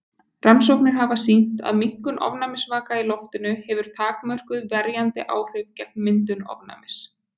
Rannsóknir hafa sýnt að minnkun ofnæmisvaka í loftinu hefur takmörkuð verjandi áhrif gegn myndun ofnæmis.